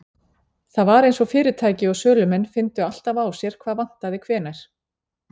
Það var eins og fyrirtæki og sölumenn fyndu alltaf á sér hvað vantaði hvenær.